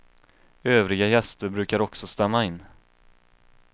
Övriga gäster brukar också stämma in.